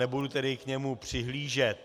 Nebudu tedy k němu přihlížet.